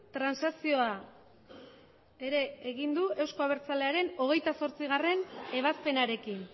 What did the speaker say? transakzioa ere egin du euzko abertzalearen hogeita zortzigarrena ebazpenarekin